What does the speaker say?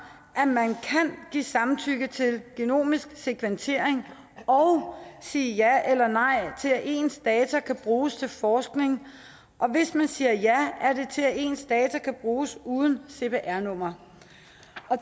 at man kan give samtykke til genomisk sekventering og sige ja eller nej til at ens data kan bruges til forskning og hvis man siger ja er det til at ens data kan bruges uden cpr nummer